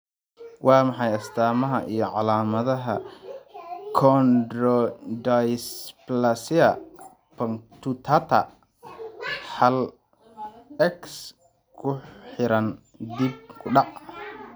Waa maxay astamaha iyo calaamadaha Chondrodysplasia punctata hal, X ku xiran dib u dhac?